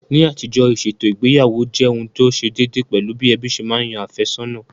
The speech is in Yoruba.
Ní àtijọ́, ìṣètò ìgbéyàwó jẹ́ ohun tí ó ṣe déédéé, pẹ̀lú bí ẹbí ṣe ma yan àfẹ́sọ̀nà